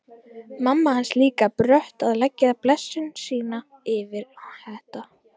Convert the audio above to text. Mamma hans líka brött að leggja blessun sína yfir þetta.